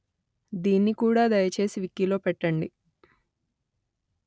దీన్ని కూడా దయచేసి వికీలో పెట్టండి